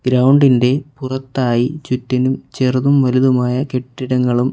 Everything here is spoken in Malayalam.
ഗ്രൗണ്ട് ഇന്റെ പുറത്തായി ചുറ്റിനും ചെറുതും വലുതുമായ കെട്ടിടങ്ങളും--